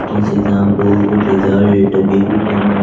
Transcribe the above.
entrance exam board result भी में--